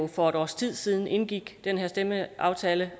for et års tid siden indgik den her stemmeaftale